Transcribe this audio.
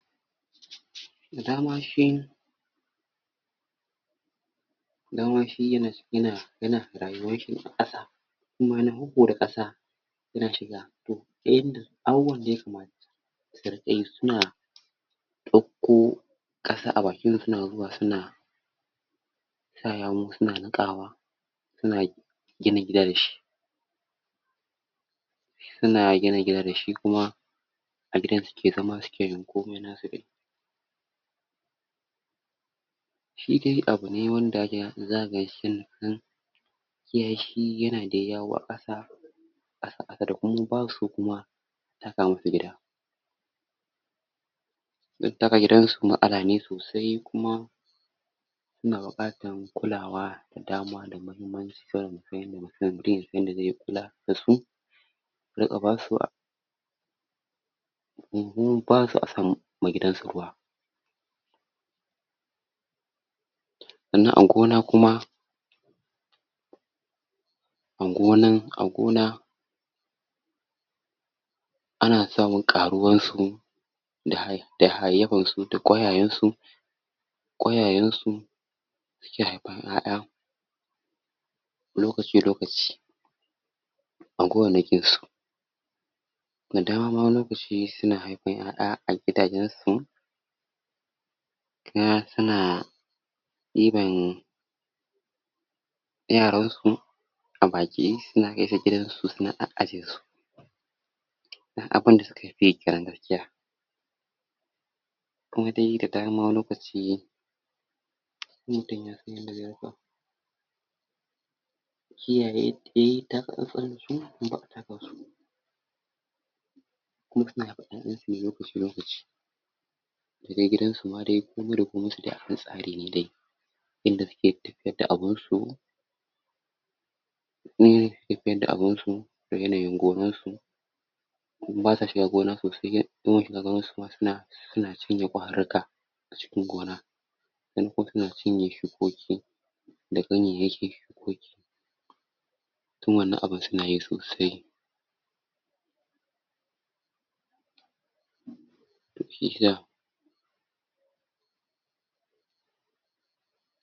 da dama shi da dama shi yana[um] yana rayuwanshi ne aƙasa ikuma na huhuda ƙasa yana shiga to dai irin abubuwan da yakama suriƙayi suna ɗako ɗasa abakin su suna zuwa su sa yawu suna niƙawa suna gina gida dashi suns gina gida dashi kuma a gidan suke zama suke yin komi nasu dai shi dai abune wanda yanda zaka ganshi yananan kiyashi yana dai yawo aƙasa baus so kuma a taka musu gida don taka gidan su matsala ne sosai kuma suna buƙatan kulawa da da mahimmanci saboda musan da da mahimmanci saboda musan yanda zamu kula su riƙa basu kunkuru basu so asa ma gidan su ruwa sanan a gona kuma angonan a gona ana samun ƙaruwan su da hai um da hayayyyafan su da ƙoyayensu ƙoyayensu suke haifan ƴaƴa lokaci lokaci a gonanakin su da dama wani lokaci suna haifan ƴaƴa a gidajen su kuma suna ɗiban yaran su a baki suna kaisu gidan su suna a'ajiyesu dan abun da suka fiyi kenan gaskiya kuma dai da dama wani lokaci in mutun yasan yada zai riƙa kiyaye yi taka tsantsan dasu in baka taka su kuma suna haifan ƴaƴan sune lokaci lokaci daga gidan su ma dai komi da komin su dai akan tsari ne dai inda suke tahiyad da abunsu kuma yanayi da suke tafiyad da abun su a yanayin gonan su basa shiga gona soai in an shiga gonan suma suna suna cinye ƙwaruka acikin gona dan ko suna cinye shukoki da ganyeyekin shukoki tun wanan abun sunayi sosai